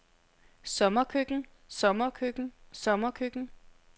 sommerkøkken sommerkøkken sommerkøkken